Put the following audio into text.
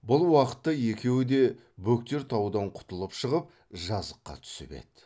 бұл уақытта екеуі де бөктер таудан құтылып шығып жазыққа түсіп еді